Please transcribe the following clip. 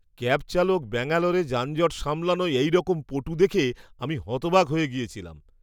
Cab চালক ব্যাঙ্গালোরে যানজট সামলানোয় এইরকম পটু দেখে আমি হতবাক হয়ে গেছিলাম!